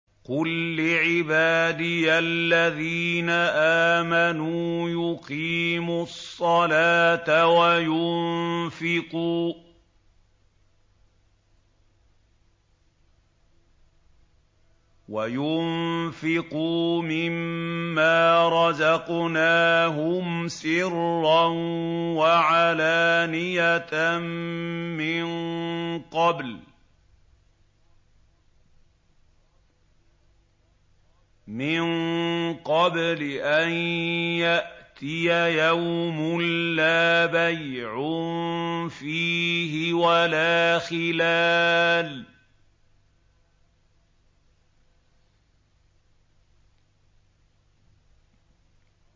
قُل لِّعِبَادِيَ الَّذِينَ آمَنُوا يُقِيمُوا الصَّلَاةَ وَيُنفِقُوا مِمَّا رَزَقْنَاهُمْ سِرًّا وَعَلَانِيَةً مِّن قَبْلِ أَن يَأْتِيَ يَوْمٌ لَّا بَيْعٌ فِيهِ وَلَا خِلَالٌ